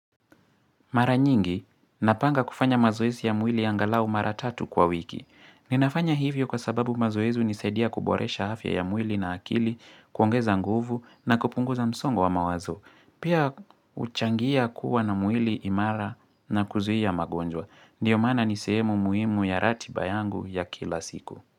Mara nyingi, napanga kufanya mazoezi ya mwili angalau mara tatu kwa wiki. Ninafanya hivyo kwa sababu mazoezi unisaidia kuboresha afya ya mwili na akili, kuongeza nguvu na kupunguza msongo wa mawazo. Pia uchangia kuwa na mwili imara na kuzuia magonjwa. Ndio maana niseemu muimu ya rati bayangu ya kila siku.